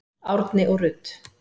Árni og Rut.